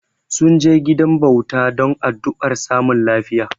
Sun je gidan bauta don addu'ar samun lafiya.